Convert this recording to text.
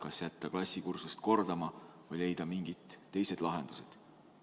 Kas jätta nad klassikursust kordama või leida mingid teised lahendused?